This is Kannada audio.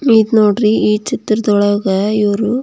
ಇದು ನೋಡ್ರಿ ಈ ಚಿತ್ರದೊಳಗೆ ಇವರು --